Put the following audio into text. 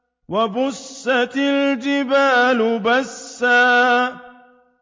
وَبُسَّتِ الْجِبَالُ بَسًّا